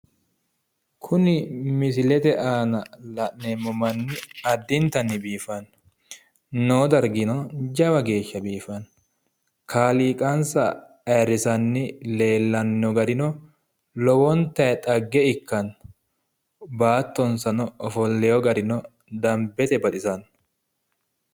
Kuni misilete aana la'neemmo manni addintanni biifanno. Noo dargino jawa geeshsha biifanno. Kaaliiqansa ayiirrisaanni leellanni no garino lowontayi xagge ikkanno. Baattonsano ofolleyoo garino dambete baxisanno.